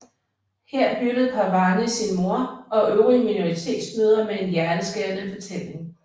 Her hyldede Parwani sin mor og øvrige minoritetsmødre med en hjerteskærende fortælling